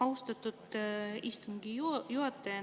Austatud istungi juhataja!